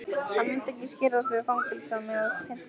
Hann myndi ekki skirrast við að fangelsa mig og pynta.